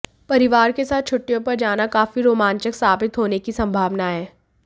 परिवार के साथ छुट्टियों पर जाना काफी रोमांचक साबित होने की संभावना है